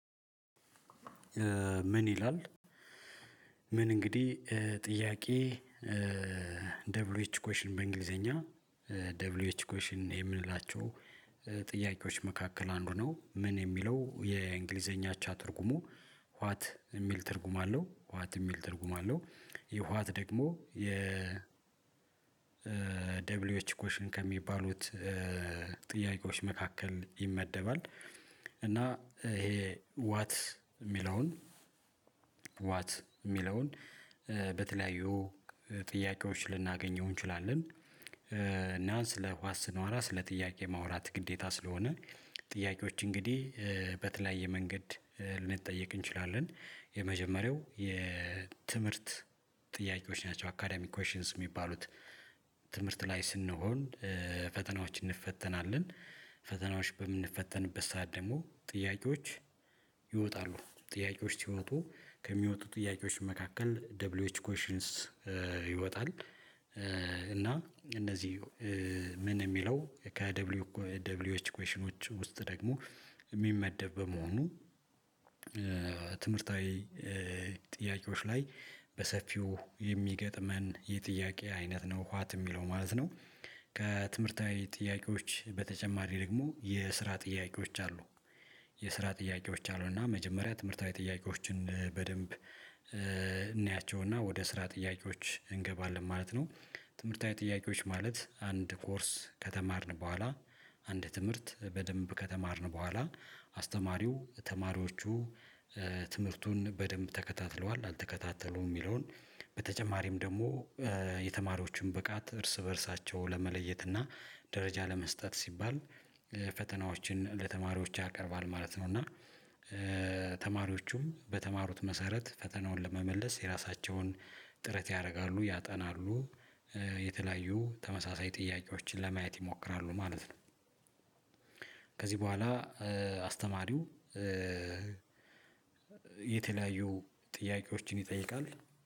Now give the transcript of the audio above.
ምን ይላል? ምን እንግዲህ ጥያቄ ደብሊው ኤች ኮሽን በእንግሊዘኛ ደብሊው ኤች ኮሽን የምንላቸው ጥያቄዎች መካከል አንዱ ነው ምን የሚለው የእንግሊዘኛ አቻ ትርጉሙ ዋት የሚል ትርጉም አለው ዋት የሚል ትርጉም አለው። ይህ ዋት ደግሞ የ ደብሊው ኤች ኮሽን ከሚባሉት ጥያቄዎች መካከል ይመደባል። እና ይሄ ዋት የሚለውን ዋት የሚለውን በተለያዩ ጥያቄዎች ልናገኘው እንችላለን እና ስለ ዋት ስኗወራ ስለ ጥያቄ ማውራት ግዴታ ስለሆነ ጥያቄዎች እንግዲህ በተለያየ መንገድ ልንጠየቅ እንችላለን የመጀመሪያው የትምህርት ጥያቄዎች ናቸው አካዳሚክ ኮሺንስ የሚባሉት ትምህርት ላይ ስንሆን ፈተናዎች እንፈተናለን ፈተናዎች በምንፈተንበት ሰዓት ደግሞ ጥያቄዎች ይወጣሉ ጥያቄዎች ሲወጡ ከሚወጡ ጥያቄዎች መካከል ደብል ኤች ኮሽንስ ይወጣል። እና እነዚህ ምን የሚለው ከደብሊው ደብሊው ኤች ኮሺኖች ውስጥ ደግሞ የሚመደብ በመሆኑ ትምህርታዊ ጥያቄዎች ላይ በሰፊው የሚገጥመን የጥያቄ አይነት ነው ኋት የሚለው ማለት ነው። ከትምህርታዊ ጥያቄዎች በተጨማሪ ደግሞ የስራ ጥያቄዎች አሉ። የስራ ጥያቄዎች አሉ እና መጀመሪያ ትምህርታዊ ጥያቄዎችን በደንብ እናያቸውና ወደ ስራ ጥያቄዎች እንገባለን ማለት ነው። ትምህርታዊ ጥያቄዎች ማለት አንድ ኮርስ ከተማርን በኋላ አንድ ትምህርት በደንብ ከተማርን በኋላ አስተማሪው ተማሪዎቹ ትምህርቱን በደንብ ተከታትለዋል አልተከታተሉም የሚለውን በተጨማሪም ደግሞ የተማሪዎችን ብቃት እርስ በእርሳቸው ለመለየት እና ደረጃ ለመስጠት ሲባል ፈተናዎችን ለተማሪዎች ያቀርባል ማለት ነው። እና ተማሪዎቹም በተማሩት መሰረት ፈተናውን ለመመለስ የራሳቸውን ጥረት ያደርጋሉ ያጠናሉ የተለያዩ ተመሳሳይ ጥያቄዎችን ለማየት ይሞክራሉ ማለት ነው። ከዚህ በኋላ አስተማሪው የተለያዩ ጥያቄዎችን ይጠይቃል